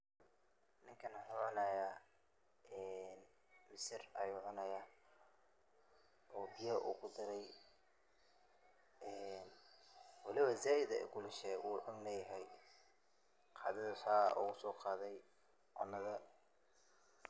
Ninka wuxu cunaya een misir ayu cunaya, oo biya u kudarey, een waliba zaid ayay ukulushehe wu cun layaxay, qadada saa ogusoqadey cunad.